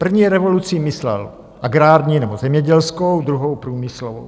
První revolucí myslel agrární nebo zemědělskou, druhou průmyslovou.